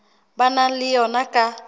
ba nang le yona ka